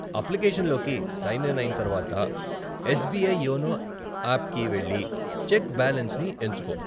అప్లికేషన్లోకి sign in అయిన తరువాత, SBI YONO ఆప్కి వెళ్లి చెక్ బాలెన్స్ని ఎంచుకో.